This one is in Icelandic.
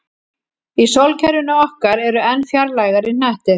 Í sólkerfinu okkar eru enn fjarlægari hnettir.